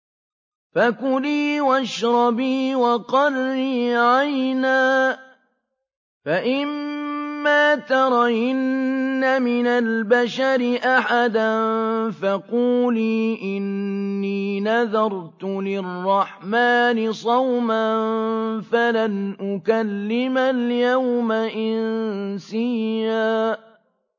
فَكُلِي وَاشْرَبِي وَقَرِّي عَيْنًا ۖ فَإِمَّا تَرَيِنَّ مِنَ الْبَشَرِ أَحَدًا فَقُولِي إِنِّي نَذَرْتُ لِلرَّحْمَٰنِ صَوْمًا فَلَنْ أُكَلِّمَ الْيَوْمَ إِنسِيًّا